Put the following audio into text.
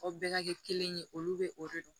Aw bɛɛ ka kɛ kelen ye olu bɛ o de dɔn